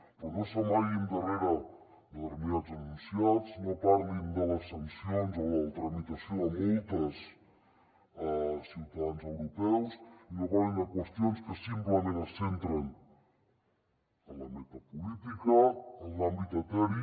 però no s’amaguin darrere de determinats enunciats no parlin de les sancions o la tramitació de multes a ciutadans europeus i no parlin de qüestions que simplement es centren en la metapolítica en l’àmbit eteri